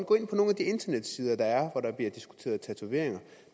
går ind på nogle af de internetsider der er hvor der bliver diskuteret tatoveringer